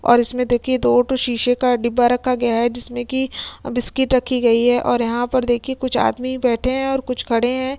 और इसमें देखिये दो ठो शीशे का डिब्बा रखा गया है जिसमें की बिस्कुट रखी गई है और यहाँ पर देखीये कुछ आदमी बैठे हैं और कुछ खड़े हैं।